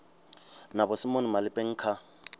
na vho simon malepeng kha